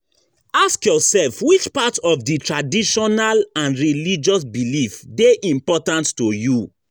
Ask yourself which part of di traditional and religious belief de important to you